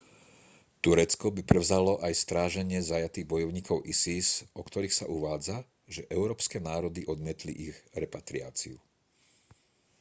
turecko by prevzalo aj stráženie zajatých bojovníkov isis o ktorých sa uvádza že európske národy odmietli ich repatriáciu